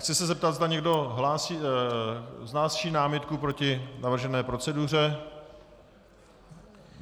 Chci se zeptat, zda někdo vznáší námitku proti navržené proceduře?